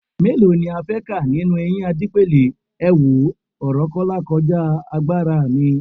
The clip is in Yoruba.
Mélòó ni a fẹ́ kà nínú eyín Adípèlé, èwo, ọ̀rọ̀ Kọ́lá kọjá agbára mi